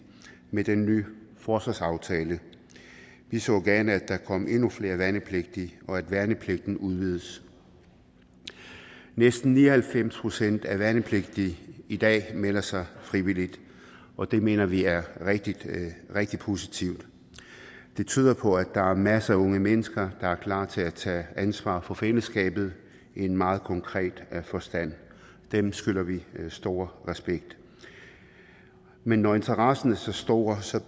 med den nye forsvarsaftale vi så gerne at der kom endnu flere værnepligtige og at værnepligten blev udvidet næsten ni og halvfems procent af værnepligtige i dag melder sig frivilligt og det mener vi er rigtig rigtig positivt det tyder på at der er masser af unge mennesker der er klar til at tage ansvar for fællesskabet i en meget konkret forstand dem skylder vi stor respekt men når interessen er så stor